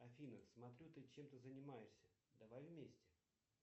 афина смотрю ты чем то занимаешься давай вместе